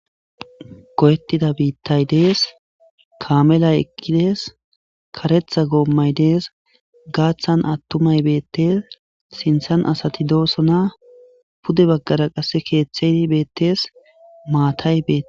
goyettida biittay dees kaamelay eqidees karetha goommay dees gaaththan attumay beettes sinthan asati doosona pude baggara qasse keeththeyi beettes maatay beete